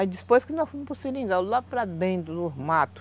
Aí, depois que nós fomos para o seringal, lá para dentro, no mato,